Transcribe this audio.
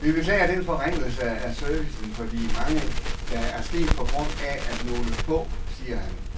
Vi beklager den forringelse af servicen for de mange, der er sket på grund af nogle få, siger han.